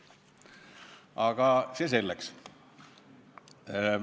Aga see selleks.